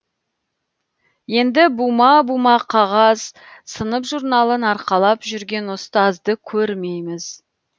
енді бума бума қағаз сынып журналын арқалап жүрген ұстазды көрмейміз